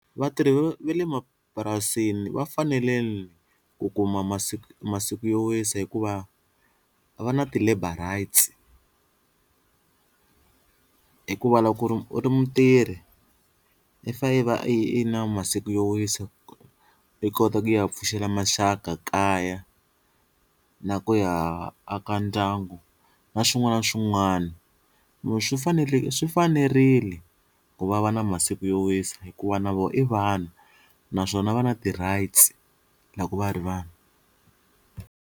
Vatirhi va le mapurasini va fanele ku kuma masiku masiku yo wisa hikuva va na ti-labour rights hikuva loko ku ri u ri mutirhi i fane i va i ri na masiku yo wisa i kota ku ya pfuxela maxaka kaya na ku ya aka ndyangu na swin'wana na swin'wana, swi fanele swi fanerile ku va va na masiku yo wisa hikuva na vona i vanhu naswona va na ti-rights loko va ri vanhu.